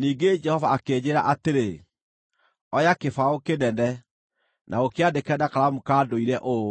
Ningĩ Jehova akĩnjĩĩra atĩrĩ, “Oya kĩbaũ kĩnene, na ũkĩandĩke na karamu ka ndũire ũũ: